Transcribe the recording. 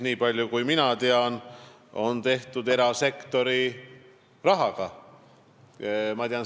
Niipalju kui mina tean, on see tehtud erasektori rahaga.